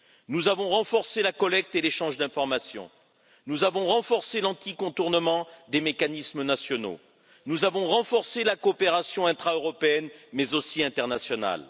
Nous avons renforcé la collecte et l'échange d'informations, nous avons renforcé l'anti contournement des mécanismes nationaux, nous avons renforcé la coopération intraeuropéenne et également internationale.